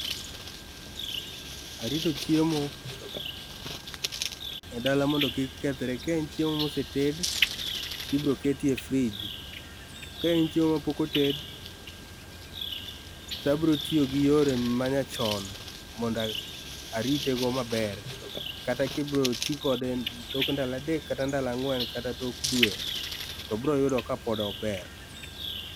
Arito chiemo e dala mondo kik kethre ka en chiemo ma osetedi to ibirokete e [cs fridge ka en chiemo ma pok oted to abiro tiyogi yore ma nyachon mondo aritego maber kata kibirotikode tok ndalo adek kata ang'wen kata tok dwe to biroyudo ka pod ober